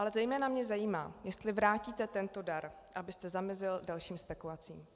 Ale zejména mě zajímá, jestli vrátíte tento dar, abyste zamezil dalším spekulacím.